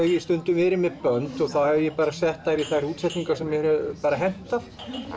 stundum verið með bönd þá hef ég bara sett þær í þær útsetningar sem hefur hentað